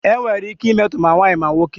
Enwere ike imetọ ma nwaanyị ma nwoke.